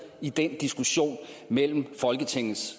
i den diskussion mellem folketingets